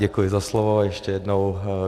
Děkuji za slovo ještě jednou.